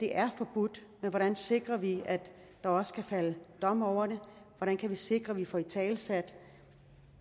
er forbudt men hvordan sikrer vi at der også kan fældes dom over det hvordan kan vi sikre at vi får italesat